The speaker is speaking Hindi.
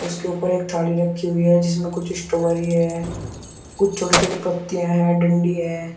उसके ऊपर एक थाली रखी हुई है जिसमें कुछ स्ट्रॉबेरी है कुछ छोटी छोटी पत्तियां हैं डंडी है।